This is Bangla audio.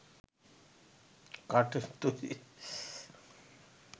কাঠের তৈরি